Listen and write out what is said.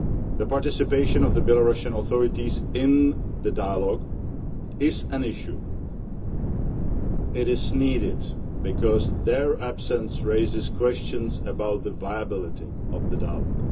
The participation of the Belarusian authorities in the dialogue is an issue. It is needed because their absence raises questions about the viability of the dialogue.